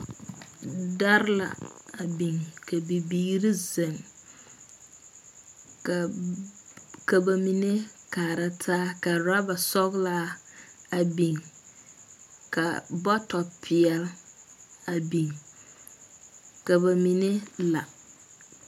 Dɛrɛ la a biŋ ka bibiiri zeŋ ka ba mine kaara taa ka rubber soglaa a biŋ ka bɔtɔ peɛle a biŋ ka ba mine la.